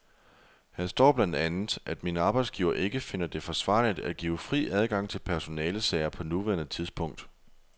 Her står blandt andet, at min arbejdsgiver ikke finder det forsvarligt at give fri adgang til personalesager på nuværende tidspunkt.